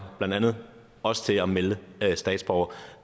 blandt andet også til at melde statsborgere